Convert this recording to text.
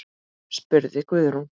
spurði Guðrún.